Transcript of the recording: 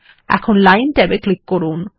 এখন লাইন ট্যাবে ক্লিক করুন